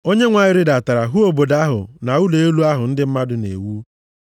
Onyenwe anyị rịdatara hụ obodo ahụ na ụlọ elu ahụ ndị mmadụ na-ewu.